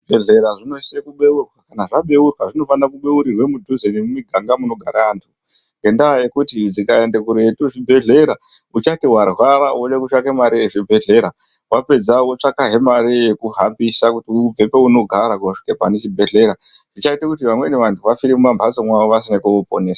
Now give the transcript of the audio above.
Zvibhedhlera zvinosise kubeurwa kana zvabeurwa zvinofanira kubeurirwe mudhuze nemumiganga munogara antu. Ngendaa yekuti zvikaende kuretu zvibhedhlera uchati varwara vode kutswake mari yechibhedhlera vapedza votsvakahe mari yekuhambisa kuti ubve paunogara kusvika pane chibhedhlera. Zvichaita kuti vamweni vantu vafire mumamhatso mwavo vasina kuokuponeswa.